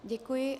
Děkuji.